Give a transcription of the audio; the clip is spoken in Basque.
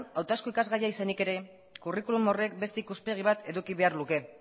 hautazko ikasgaia izanik ere curriculum horrek beste ikuspegi bat eduki behar luke